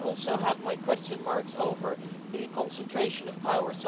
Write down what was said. and I have too my question marks over the concentration of power.